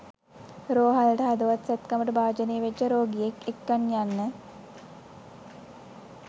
රෝහලට හදවත් සැත්කමට භාජනය වෙච්ච රෝගියෙක් එක්කන් යන්න